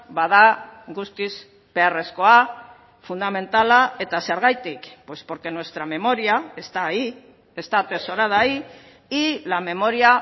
bada guztiz beharrezkoa fundamentala eta zergatik pues porque nuestra memoria está ahí está atesorada ahí y la memoria